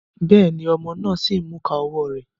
Béèni, ọmọ náà sí n mú ìká ọwọ rẹ